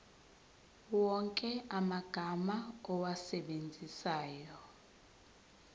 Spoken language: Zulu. wonke amagama owasebenzisayo